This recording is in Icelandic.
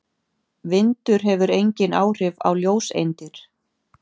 Vindur hefur engin áhrif á ljóseindir.